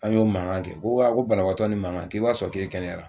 An y'o mankan kɛ ko a ko banabaatɔ ni mankan k'i b'a sɔrɔ k'e kɛnɛyara